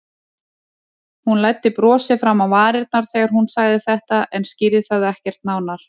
Hún læddi brosi fram á varirnar þegar hún sagði þetta en skýrði það ekkert nánar.